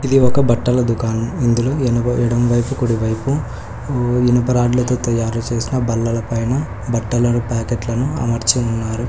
ఇది ఒక బట్టల దుకాణం ఇందులో ఎడమ ఎడమ వైపు కుడివైపు ఇనుప రాడ్లతో తయారుచేసిన బల్లలపైన బట్టలను ప్యాకెట్లను అమర్చి ఉన్నారు.